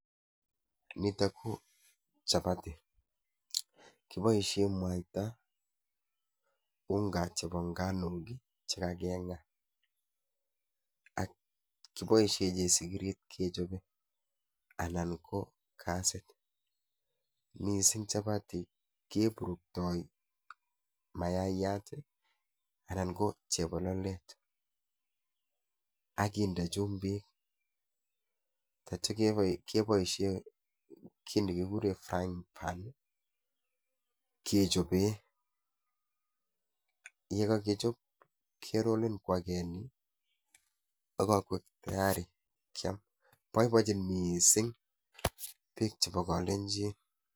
Ineni ko chapati kiboishien mwaita i,unga chebo nganuk che kakindan ak kiboishien chesigiri anan ko gasit, kiburuktoi mayaat anan ko chebololet ak kinder chumbik, yeityo keboishien kit nekikureen frying pan kechoben. yekokechop kerolen kwa agenge ak yekokoik tayari Liam, boiboenyin missing biik chebo kolenjin